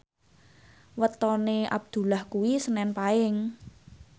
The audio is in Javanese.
wetone Abdullah kuwi senen Paing